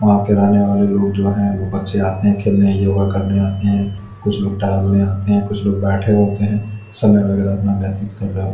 वहां के रहने वाले लोग जो है वो बच्चे आते हैं खेलने योगा करने आते हैं कुछ लोग टहलने आते हैं कुछ लोग बैठे होते हैं समय वगैरा अपना व्यतीत कर--